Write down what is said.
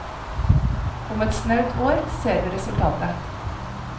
Om et snaut år ser vi resultatet.